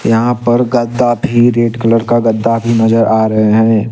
यहाँ पर गद्दा भी रेड कलर का गद्दा की नजर आ रहे हैं।